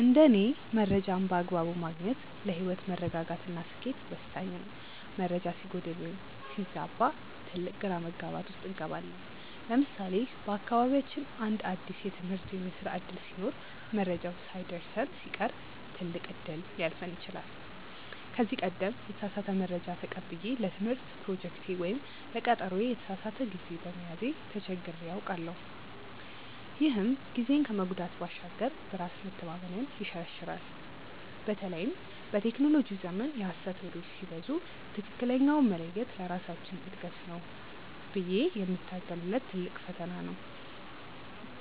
እንደ እኔ መረጃን በአግባቡ ማግኘት ለህይወት መረጋጋት እና ስኬት ወሳኝ ነው። መረጃ ሲጎድል ወይም ሲዛባ ትልቅ ግራ መጋባት ውስጥ እንገባለን። ለምሳሌ በአካባቢያችን አንድ አዲስ የትምህርት ወይም የስራ ዕድል ሲኖር መረጃው ሳይደርሰን ሲቀር ትልቅ እድል ሊያልፈን ይችላል። ከዚህ ቀደም የተሳሳተ መረጃ ተቀብዬ ለትምህርት ፕሮጀክቴ ወይም ለቀጠሮዬ የተሳሳተ ጊዜ በመያዜ ተቸግሬ አውቃለሁ፤ ይህም ጊዜን ከመጉዳት ባሻገር በራስ መተማመንን ይሸረሽራል። በተለይም በቴክኖሎጂው ዘመን የሐሰት ወሬዎች ሲበዙ ትክክለኛውን መለየት ለራሳችን እድገት ብዬ የምታገልለት ትልቅ ፈተና ነው።